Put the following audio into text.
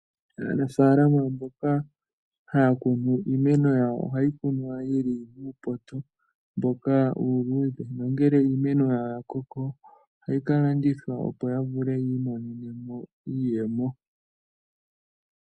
Aanafalama mboka haya kunu iimeno yawo ohayi kunwa yi li muupoto mboka uuluudhe nongele iimeno yawo ya koko ohayi ka landithwa, opo ya vule yi imonene mo iiyemo.